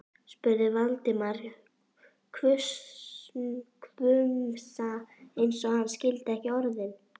spurði Valdimar, hvumsa eins og hann skildi ekki orðin.